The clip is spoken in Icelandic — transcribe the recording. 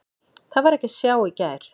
Það var ekki að sjá í gær.